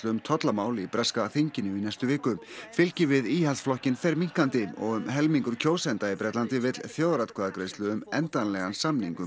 um tollamál í breska þinginu í næstu viku fylgi við Íhaldsflokkinn fer minnkandi og um helmingur breskra kjósenda vill þjóðaratkvæðagreiðslu um endanlegan samning um